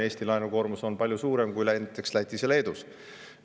Eestis on laenukoormus palju suurem kui näiteks Lätis ja Leedus.